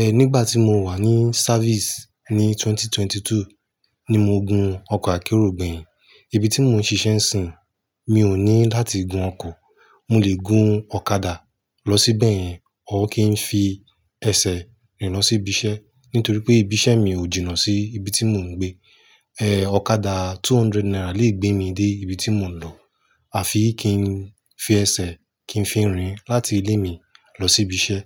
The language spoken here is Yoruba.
ẹ́ nígbà tí mo wà ní service ní 2022 ni mo gun ọkọ̀ akérò gbẹ̀yìn. Ibi tí mo ń ṣiṣẹ́ ń sìn, mi ò ní láti gun ọkọ̀, mo lè gun ọ̀kadà lọ síbẹ̀ yẹn or kí n fi ẹsẹ̀ rìn lọ sí ibi iṣẹ́, nítorí pé ibi iṣẹ́ mi ò jìnnà sí ibi tí mò ń gbé. Ẹ́ ọ̀kadà two hundred naira lè gbé mi dé ibi tí mò ń lọ, à fi kí n fi ẹsẹ̀ kí n fi rìn láti ilé mi lọ sí ibi iṣẹ́.